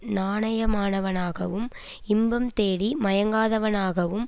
நாணயமானவனாகவும் இன்பம் தேடி மயங்காதவனாகவும்